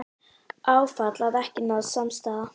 Áfall að ekki náðist samstaða